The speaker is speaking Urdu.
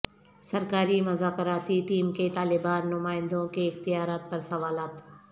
سرکاری مذاکراتی ٹیم کے طالبان نمائندوں کے اختیارات پر سوالات